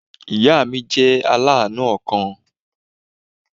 Ìya mi jẹ́ aláànú ọkàn